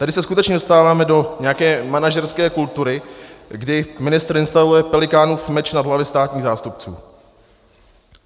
Tady se skutečně dostáváme do nějaké manažerské kultury, kdy ministr instaluje Pelikánův meč nad hlavy státních zástupců.